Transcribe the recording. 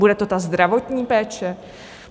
Bude to ta zdravotní péče?